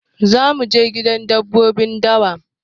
Za mu je gidan dabbobin dawa.